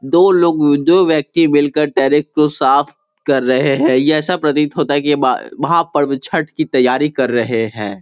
दो लोग व दो व्यक्ति मिल कर को साफ़ कर रहे है यह ऐसा प्रतीत होता है कि बा वहाँ पर छट की तैयारी कर रहे हैं।